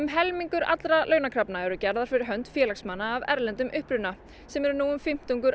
helmingur allra launakrafna er gerður fyrir hönd félagsmanna af erlendum uppruna sem eru nú fimmtungur